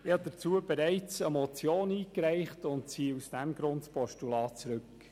Dazu habe ich bereits eine Motion eingereicht und ziehe dieses Postulat deshalb zurück.